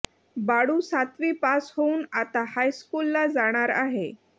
बाळू सातवी पास होऊन आता हायस्कूलला जाणार आहे